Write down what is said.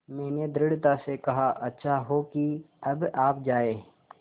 मैंने दृढ़ता से कहा अच्छा हो कि अब आप जाएँ